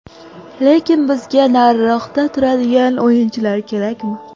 Lekin bizga nariroqda turadigan o‘yinchilar kerakmi?